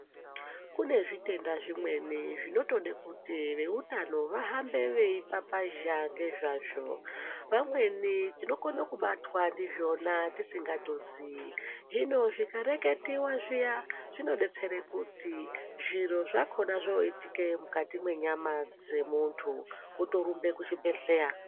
Kune zvitenda zvimweni zvinotode kuti veutano vahambe veipapazha ngezvavo. Vamweni tinokona kubatwa ndizvona tisingatozii. Hino zvikareketiva zviya zvinobetsere kuti zviro zvakoma zvoitike mukati mwenyama dzemuntu votorumbe kuchibhedhleya.